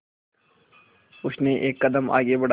उसने एक कदम आगे बढ़ाया